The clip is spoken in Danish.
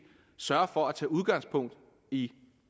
sørge for at tage udgangspunkt i